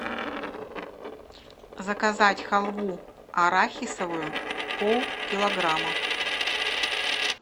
заказать халву арахисовую полкилограмма